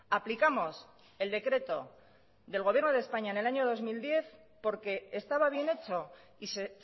aplicamos el decreto del gobierno de españa en el año dos mil diez porque estaba bien hecho y se